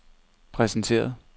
præsenteret